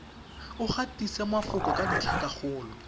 o gatise mafoko ka ditlhakakgolo